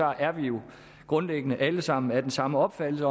er vi jo grundlæggende alle sammen af den samme opfattelse